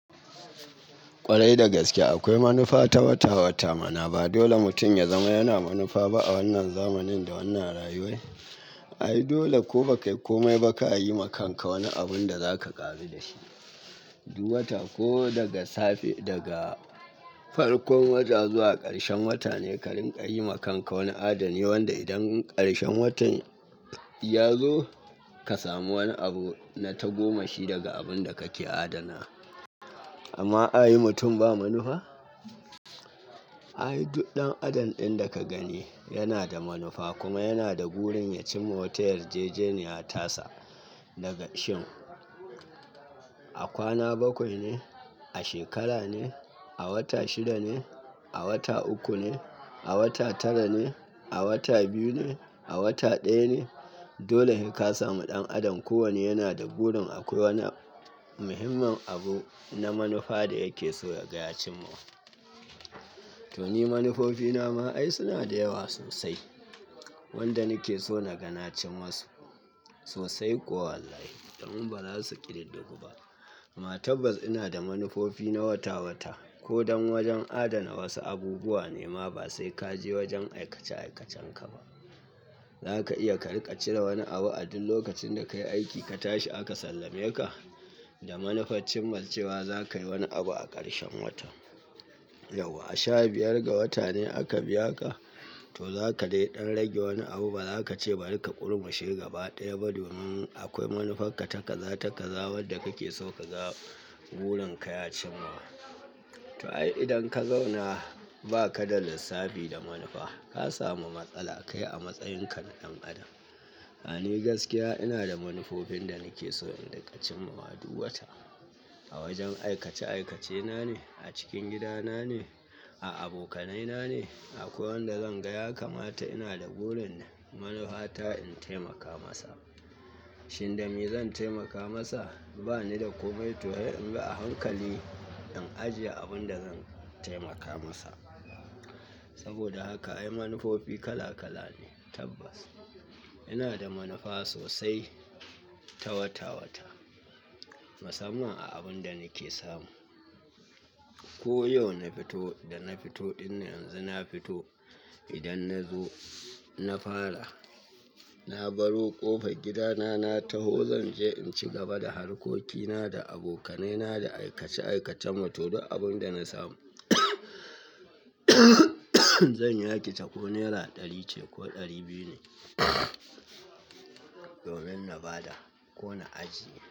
Kwarai da gaskiya akwai manufa ta wata-wata mana ba dole mutum ya zama yana manufa ba a wannan zamanin da wannan rayuwai. Ai, dole ko bakai komai baka yi makanka wani abun da zaka ƙaru da shi. Du wata ko daga safe daga farkon wata zuwa ƙarshen wata ne ka rinƙa yi makanka wani adani. Wanda idan ƙarshen watan ya zo ka samu wani abu na tagomashi daga abun da kake adana. Amma a yi mutum ba manufa? Ai, duk ɗan'adam ɗin da ka gani yana da manufa kuma yana da burin ya cimma. Wata yarjejeniya tasa daga shin. A kwana bakwai ne, a shekara ne, a wata shida ne, a wata uku ne, a wata tara ne, a wata biyu ne, a wata ɗaya ne. Dole he ka samu ɗan'adam kowanne yana da burin akwai wani muhimmin abu na manufa da yake so daga ya cimma. To ni manufofina ma ai suna da yawa sosai. Wanda nake so nagana cin masu sosai kuwa wallahi. Dan ba za su ƙiduddugu ba. Ma tabbas ina da manufofi na wata-wata. Ko dan wajen adana wasu abubuwa ne ma ba sai ka je wajen aikace aikacenka ba. Zaka iya ka riƙa cire wani abu a duk lokacin da ka yi aiki ka tashi aka sallameka da manufar cin ma cewa zaka yi wani abu a ƙarshen wata. Yauwa a sha biyar ga wata ne aka biya ka, to zaka dai ɗan rage wani abu ba za ka ce bari ka ƙurmushe gaba ɗaya ba. Domin akwai manufanka ka taka za, taka za wanda kake so kaga burin ka ya cimma. To ai, idan ka zauna ba ka da lissafi da manufa, ka samu matsala kai a matsayin ka na ɗan'adam. A ni gaskiya ina da manufofin da nake so in riƙa cin mawa duk wata. A wajen aikace aikacena ne, a cikin gidana ne, a abokanaina ne. Akwai wanda zan ga ya kamata ina da burin manufa ta in taimaka masa. Shin dame zan taimaka masa? Ba ni da komai to he in bi a hankali in ajiye abun da zan taimaka masa. Saboda haka ai manufofi kala kala ne tabbas. Ina da manufa sosai ta wata-wata. Musamman a abun da nake samu. Ko yau na fito da na fito ɗin nan yanzu na fito idan na zo na fara. Na baro ƙofar gidana na taho zan je in ci gaba da harkokina, da abokanaina, da aikace aikacen mu. To duk abun da na samu zan yaki ta ko nera ɗari ce ko ɗari biyu ne. Domin na ba da ko na ajiye.